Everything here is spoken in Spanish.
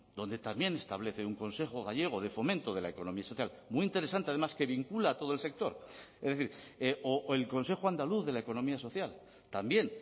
donde también establece un consejo gallego de fomento de la economía social muy interesante además que vincula a todo el sector es decir o el consejo andaluz de la economía social también